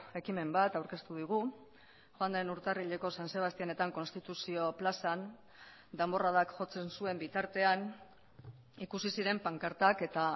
ekimen bat aurkeztu digu joan den urtarrileko san sebastianetan konstituzio plazan danborradak jotzen zuen bitartean ikusi ziren pankartak eta